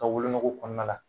Ka wolonogo kɔnɔna la